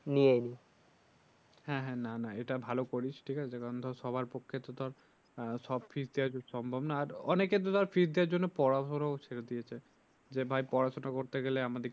হ্যাঁ হ্যাঁ না না এটা ভালো করিস ঠিকআছে কারন সবার পক্ষে তো সব দিক দিয়ে সম্ভব না আর অনেকের তো এর জন্য পড়াশোনা ও ছেড়ে দিয়েছে যে ভাই পড়াশোনা করতে গেলে আমাদেরকে